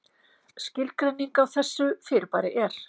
Skilgreining á þessu fyrirbæri er: